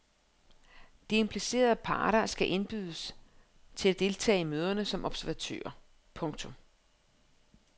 De implicerede parter skal indbydes til at deltage i møderne som observatører. punktum